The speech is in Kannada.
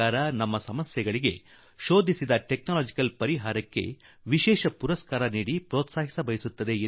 ಈ ರೀತಿ ನಮ್ಮ ಸಮಸ್ಯೆಗಳಿಗೆ ಪರಿಹಾರವಾಗಿ ಕಂಡುಹಿಡಿದ ತಂತ್ರಜ್ಞಾನಕ್ಕೆ ವಿಶೇಷ ಪುರಸ್ಕಾರ ನೀಡಿ ಬೆಳೆಸಲು ಭಾರತ ಸರ್ಕಾರ ಬಯಸಿದೆ